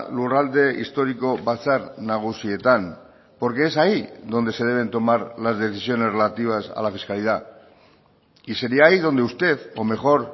lurralde historiko batzar nagusietan porque es ahí donde se deben tomar las decisiones relativas a la fiscalidad y sería ahí donde usted o mejor